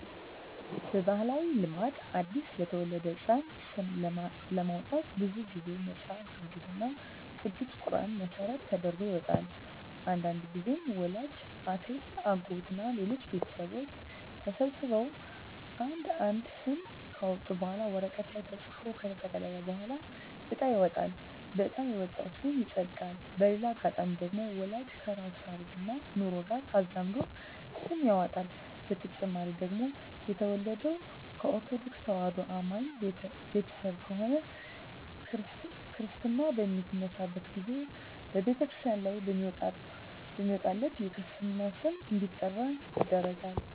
በባህላዊ ልማድ አዲስ ለተወለደ ህጻን ስም ለማውጣት ብዙ ግዜ መጸሀፍ ቅዱስ እና ቅዱስ ቁራንን መሰረት ተደርጎ ይወጣል። አንዳንድግዜም ወላጅ፣ አክስት፣ አጎት እና ሌሎች ቤተሰቦች ተሰብስበው አንድ አንድ ስም ካወጡ በኋላ ወረቀት ላይ ተጽፎ ከተጠቀለለ በኋላ እጣ ይወጣል በእጣ የወጣው ስም ይጸድቃል። በሌላ አጋጣሚ ደግሞ ወላጅ ከራሱ ታሪክና ኑሮ ጋር አዛምዶ ስም ያወጣል። በተጨማሪ ደግሞ የተወለደው ከኦርተዶክ ተዋህዶ አማኝ ቤተሰብ ከሆነ ክርስታ በሚነሳበት ግዜ በተክርስቲያን ላይ በሚወጣለት የክርስትና ስም እንዲጠራ ይደረጋል።